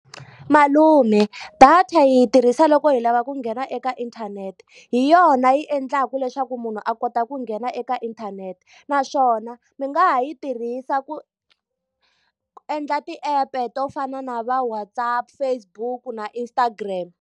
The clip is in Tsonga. Malume data hi yi tirhisa loko hi lava ku nghena eka inthanete, hi yona yi endlaka leswaku munhu a kota ku nghena eka inthanete. Naswona mi nga ha yi tirhisa ku endla ti-app-e to fana na va WhatsApp, Facebook na Instagram.